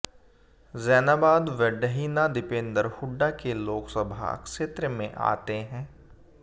जैनाबाद व डहीना दीपेन्द्र हुड्डा के लोकसभा क्षेत्र में आते हैं